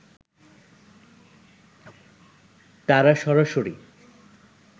তারা সরাসরি